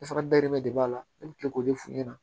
E fana dayirimɛ de b'a la ne bɛ tila k'o de f'u ɲɛna